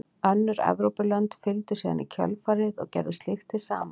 Önnur Evrópulönd fylgdu síðan í kjölfarið og gerðu slíkt hið sama.